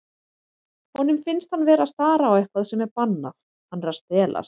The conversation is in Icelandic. Honum finnst hann vera að stara á eitthvað sem er bannað, hann er að stelast.